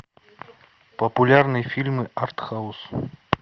популярные фильмы артхаус